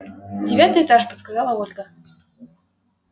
девятый этаж подсказала ольга